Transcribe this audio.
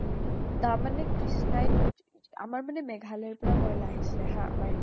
তাৰমানে কি strike । আমাৰ মানে মেঘালয় ৰ পৰা কয়লা আহিছিলে হা , আমাৰ এইটো